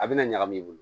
A bɛna ɲagami i bolo